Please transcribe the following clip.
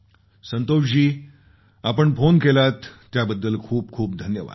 संतोष जी आपण फोन केलात त्याबद्दल खूपखूप धन्यवाद